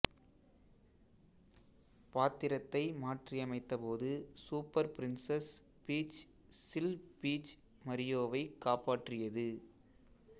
பாத்திரத்தை மாற்றியமைத்த போது சூப்பர் பிரின்சஸ் பீச் சில் பீச் மரியோவைக் காப்பாற்றியது